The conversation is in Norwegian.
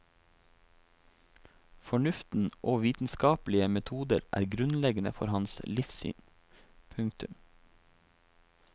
Fornuften og vitenskapelige metoder er grunnleggende for hans livssyn. punktum